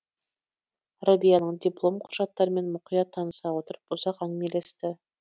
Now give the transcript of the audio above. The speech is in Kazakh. рәбияның диплом құжаттарымен мұқият таныса отырып ұзақ әңгімелесті